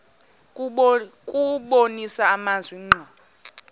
kubonisa amazwi ngqo